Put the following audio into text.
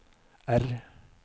R